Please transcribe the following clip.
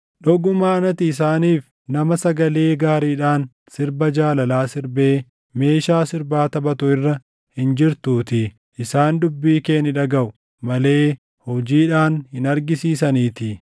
Dhugumaan ati isaaniif nama sagalee gaariidhaan sirba jaalalaa sirbee meeshaa sirbaa taphatu irra hin jirtuutii; isaan dubbii kee ni dhagaʼu malee hojiidhaan hin argisiisaniitii.